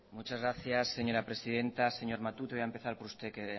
muchas gracias señora presidenta señor matute voy a empezar por usted que